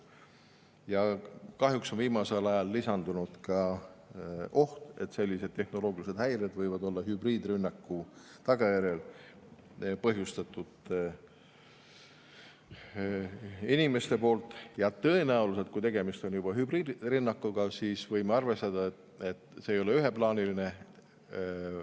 Ja kahjuks on viimasel ajal lisandunud oht, et sellised tehnoloogilised häired võivad olla inimeste põhjustatud hübriidrünnaku tagajärjel, ja tõenäoliselt, kui tegemist on juba hübriidrünnakuga, võime arvestada, et see ei ole üheplaaniline.